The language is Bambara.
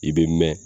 I bɛ mɛn